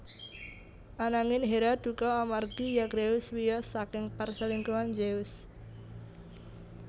Anangin Hera dukha amargi Zagreus wiyos saking perselingkuhan Zeus